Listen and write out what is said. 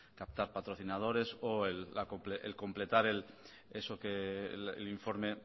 con captar patrocinadores o el completar eso que el informe